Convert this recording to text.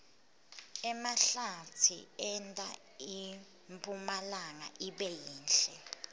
emahlatsi enta impumlanga ibe yinhle